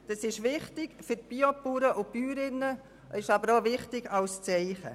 Dies ist wichtig für Biobäuerinnen und -bauern, aber auch als Zeichen.